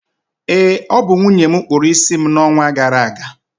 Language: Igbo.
ee, ọ bụ nwunye m kpụrụ isi m n’ọnwa gara aga